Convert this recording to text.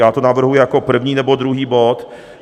Já to navrhuji jako první nebo druhý bod.